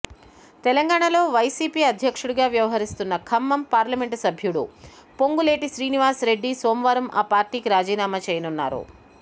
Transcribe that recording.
తెలంగాణలో వైసీపీ అధ్యక్షుడుగా వ్యవహరిస్తున్న ఖమ్మం పార్లమెంట్ సభ్యుడు పొంగులేటి శ్రీనివాస్రెడ్డి సోమవారం ఆ పార్టీకి రాజీనామా చేయనున్నారు